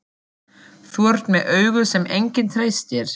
Þú ert með augu sem enginn treystir.